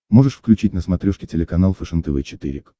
можешь включить на смотрешке телеканал фэшен тв четыре к